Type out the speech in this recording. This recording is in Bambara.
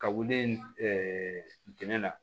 Ka wuli dɛngɛ la